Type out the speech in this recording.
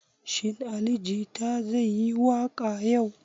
Shin Ali jita zai yi waƙa yau?